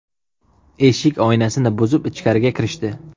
Eshik oynasini buzib, ichkariga kirishdi.